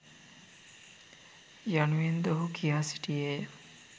යනුවෙන්ද ඔහු කියා සිටියේය.